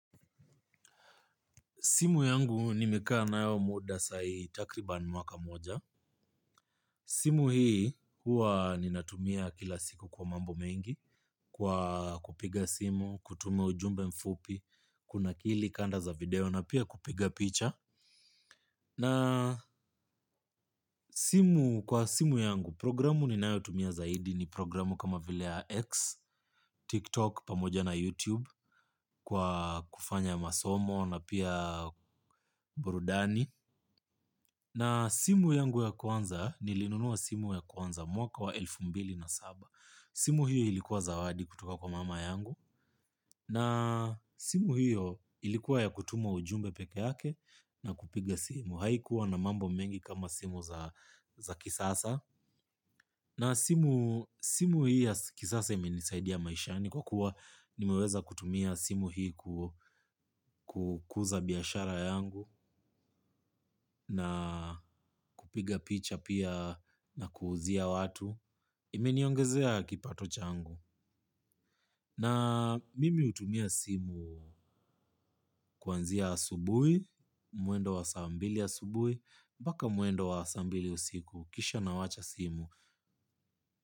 Simu yangu nimekaa nayo muda sai takriban mwaka moja. Simu hii huwa ninatumia kila siku kwa mambo mengi kwa kupiga simu, kutuma ujumbe mfupi, kunakili kanda za video na pia kupiga picha. Na simu kwa simu yangu programu ninayotumia zaidi ni programu kama vile ya X, TikTok pamoja na YouTube kwa kufanya masomo na pia burudani. Na simu yangu ya kwanza nilinunua simu ya kwanza mwaka wa elfu mbili na saba. Simu hiyo ilikuwa zawadi kutoka kwa mama yangu. Na simu hiyo ilikuwa ya kutuma ujumbe peke yake na kupiga simu. Haikuwa na mambo mengi kama simu za kisasa. Na simu hii ya kisasa imenisaidia maishani kwa kuwa nimeweza kutumia simu hii kukuza biashara yangu na kupiga picha pia na kuuzia watu. Imeniongezea kipato changu. Na mimi utumia simu kwanzia asubui, muendo wa saa mbili asubui, mbaka muendo wa saa mbili usiku, kisha nawacha simu.